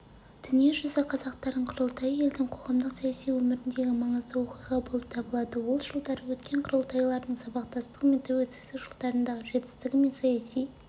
дүниежүзі қазақтарының құрылтайы елдің қоғамдық-саяси өміріндегі маңызды оқиға болып табылады ол жылдары өткен құрылтайлардың сабақтастығы мен тәуелсіздік жылдарындағы жетістігі мен саяси